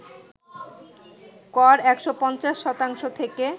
কর ১৫০ শতাংশ থেকে